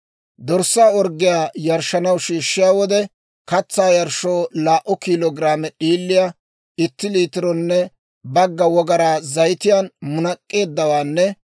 « ‹Dorssa orggiyaa yarshshanaw shiishshiyaa wode, katsaa yarshshoo laa"u kiilo giraame d'iiliyaa itti liitironne bagga wogaraa zayitiyaan munak'k'eeddawaanne